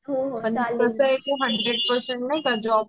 हो हो चालेल